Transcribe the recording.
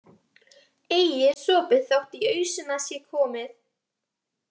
Ei er sopið þótt í ausuna sé komið.